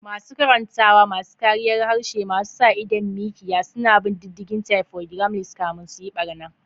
Masu karantawa, masu kariyar harshe masu sa idon mikiya, suna bin diddigin typo gremlins kafin su yi barna.